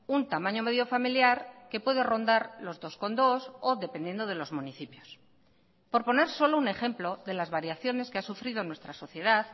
un tamaño medio familiar que puede rondar los dos coma dos o dependiendo de los municipios por poner solo un ejemplo de las variaciones que ha sufrido nuestra sociedad